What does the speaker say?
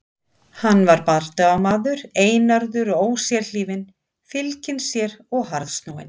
Hann var bardagamaður, einarður og ósérhlífinn, fylginn sér og harðsnúinn.